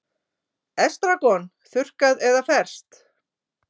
Estragon, þurrkað eða ferskt